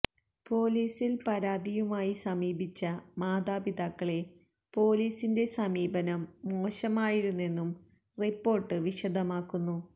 പൊലീസിൽ പരാതിയുമായി സമീപിച്ച മാതാപിതാക്കളെ പൊലീസിന്റെ സമീപനം മോശമായിരുന്നെന്നും റിപ്പോർട്ട് വിശദമാക്കുന്നു